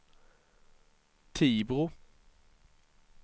Tibro